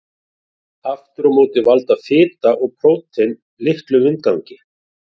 Aftur á móti valda fita og prótín litlum vindgangi.